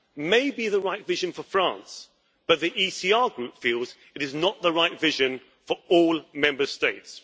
may be the right vision for France, but the ECR Group feels it is not the right vision for all Member States.